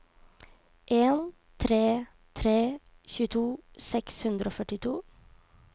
en tre tre en tjueto seks hundre og førtito